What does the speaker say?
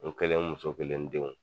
N kelen n muso kelen n denw